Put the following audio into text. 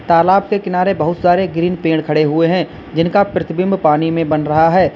तालाब के किनारे बहुत सारे ग्रीन पेड़ खड़े हुए हैं जिनका प्रतिबिंब पानी में बन रहा है।